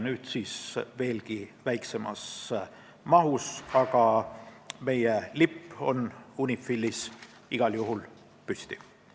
Nüüd väheneb maht veelgi, aga meie lipp jääb igal juhul UNIFIL-is püsti.